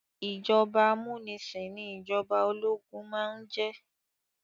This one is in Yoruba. Ìjọba amúnisìn ní ìjọba ológun máà ń jẹ́.